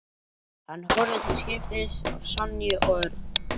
Hann horfði til skiptis á Sonju og Örn.